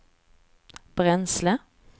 bränsle